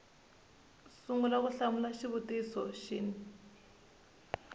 sungula ku hlamula xivutiso xin